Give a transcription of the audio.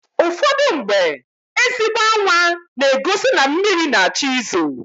Ụfọdụmgbe, ezigbo anwa na-egosi na mmịrị na-achọ ị zo.